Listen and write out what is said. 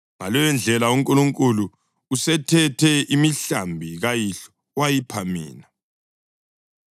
Ngaleyondlela uNkulunkulu usethethe imihlambi kayihlo wayipha mina.